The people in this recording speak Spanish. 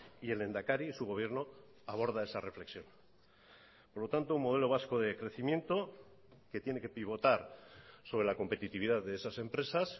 y el lehendakari y su gobierno aborda esa reflexión por lo tanto modelo vasco de crecimiento que tiene que pivotar sobre la competitividad de esas empresas